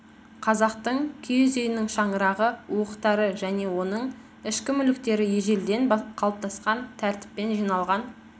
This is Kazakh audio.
қазақтың киіз үйінің шаңырағы уықтары және оның ішкі мүліктері ежелден қалыптасқан тәртіппен жиналған